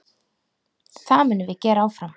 Það munum við gera áfram.